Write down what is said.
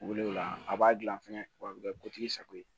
Wuli o la a b'a gilan fɛnɛ wa a bɛ kɛ kotigi sago ye